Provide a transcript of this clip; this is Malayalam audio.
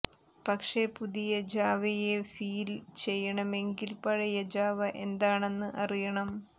പക്ഷേ പുതിയ ജാവയെ ഫീല് ചെയ്യണമെങ്കില് പഴയ ജാവ എന്താണെന്ന് അറിയണം